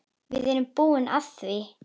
Við erum búin á því.